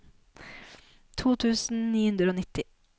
to tusen ni hundre og nitti